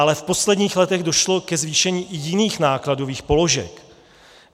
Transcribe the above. Ale v posledních letech došlo i ke zvýšení jiných nákladových položek.